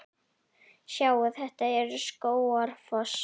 Sjáiði! Þetta er Skógafoss.